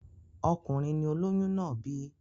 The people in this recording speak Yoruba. Ọkùnrin ni olôyún náà bí.